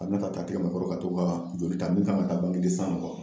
Ka na k'a t'a tɛgɛ ma ka to ka joli ta min kan ka ta mɔgɔw